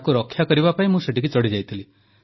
ତାକୁ ରକ୍ଷା କରିବା ପାଇଁ ମୁଁ ସେଠିକି ଚଢ଼ିଯାଇଥିଲି